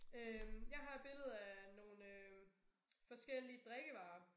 Øh jeg har et billede af nogle øh forskellige drikkevarer